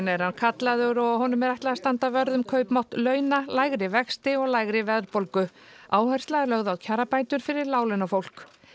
er hann kallaður og er honum ætlað að standa vörð um kaupmátt launa lægri vexti og lægri verðbólgu áhersla er lögð á kjarabætur fyrir láglaunafólk